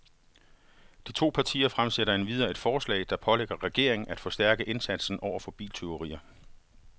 De to partier fremsætter endvidere et forslag, der pålægger regeringen af forstærke indsatsen over for biltyverier.